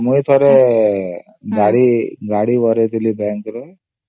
ମୁଁ ଥରେ ଗାଡି ବାହାର କରିଥିଲି IDFC bank ରୁ